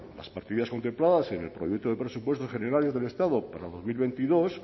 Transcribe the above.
las partidas contempladas en el proyecto de presupuestos generales del estado para dos mil veintidós